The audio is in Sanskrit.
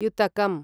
युतकम्